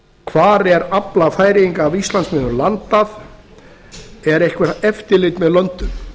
hvar er afla færeyinga af íslandsmiðum landað er eitthvað eftirlit með löndun